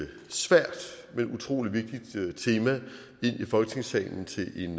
et svært men utrolig vigtigt tema ind i folketingssalen til en